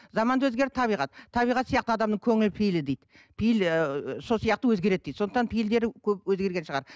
заман да өзгерді табиғат табиғат сияқты адамның көңіл пейілі дейді пейіл ыыы сол сияқты өзгереді дейді сондықтан пейілдері көп өзгерген шығар